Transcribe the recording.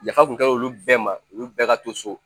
Yafa tun ka di olu bɛɛ ma olu bɛɛ ka to so